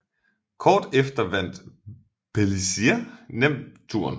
Kort efter vandt Pélissier nemt Touren